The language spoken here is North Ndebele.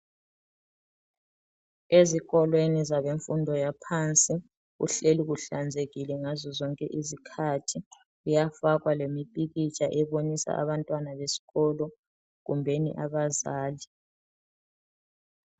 Ezikolweni zabe mfundo yaphansi kuhleli kuhlanzekile ngazo zonke izikhathi kuyafakwa lemipikitsha ebonisa abantwana besikolo kumbeni abazali .